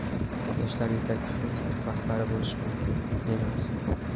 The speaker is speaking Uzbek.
yoshlar yetakchisi sinf rahbari bo‘lishi mumkin emas.